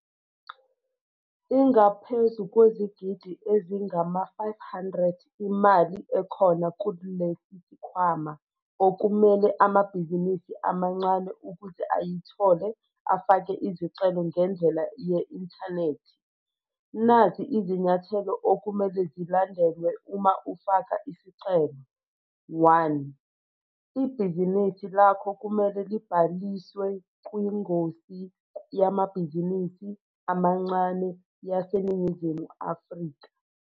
Ingaphezu kwezigidi ezingama-R500 imali ekhona kulesi sikhwama, okumele amabhizinisi amancane ukuze ayithole afake izicelo ngendlela ye-inthanethi. Nazi izinyathelo okumele zilandelwe uma ufaka isicelo- 1. Ibhizinisi lakho kumele libhaliswe kwingosi Yamabhizinisi Amancane YaseNingizimu Afrika.